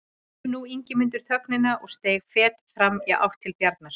Rauf nú Ingimundur þögnina og steig fet fram í átt til Bjarnar.